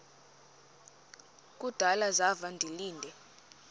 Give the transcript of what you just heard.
kudala zafa ndilinde